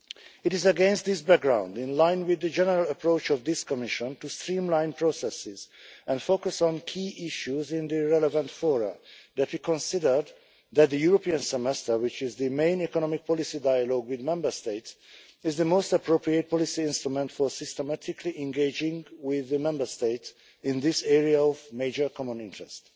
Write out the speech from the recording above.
It is against this background, in line with the general approach of this Commission to streamline processes and focus on key issues in the relevant fora, that we considered that the European Semester, which is the main economic policy dialogue with Member States, is the most appropriate policy instrument for systematically engaging with the Member States in this area of major common interest.